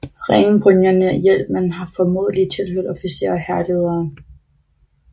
Ringbrynjerne og hjelmene har formodentlig tilhørt officerer og hærledere